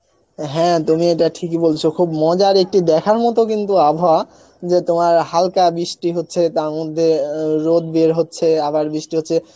হ্যাঁ তুমি এটা ঠিকই বলছ মজার একটি দেখার মত কিন্তু আবহাওয়া, যে তোমার হালকা বৃষ্টি হচ্ছে তার মধ্যে অ্যাঁ ও রোধ বের হচ্ছে আবার বৃষ্টি হচ্ছে